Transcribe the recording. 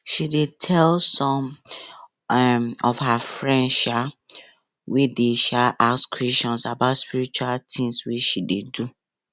she dey tell some um of her friends um wey dey um ask questions about spiritual things wey she dey do